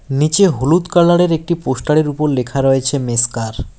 নীচে হলুদ কালারের একটি পোস্টারের উপর লেখা রয়েছে মেসকার ।